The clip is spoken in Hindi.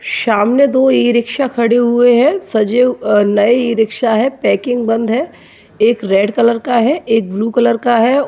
सामने दो ई-रिक्शा खड़े हुए हैं सजे अ नए ई-रिक्शा है पॅकिग बंद है एक रेड कलर का है एक ब्लू कलर का है।